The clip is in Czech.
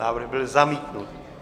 Návrh byl zamítnut.